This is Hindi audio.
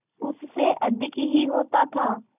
उससे अधिक ही होता था